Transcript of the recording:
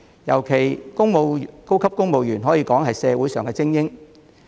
尤其是高級公務員，他們可謂社會精英。